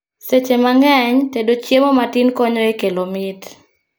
Seche mang'eny, tedo chiemo matin konyo e kelo mit